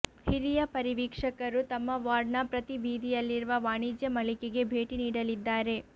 ಹಿರಿಯ ಪರಿವೀಕ್ಷಕರು ತಮ್ಮ ವಾರ್ಡ್ನ ಪ್ರತಿ ಬೀದಿಯಲ್ಲಿರುವ ವಾಣಿಜ್ಯ ಮಳಿಗೆಗೆ ಭೇಟಿ ನೀಡಲಿದ್ದಾರೆ